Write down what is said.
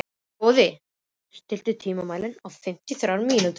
Góði, stilltu tímamælinn á fimmtíu og þrjár mínútur.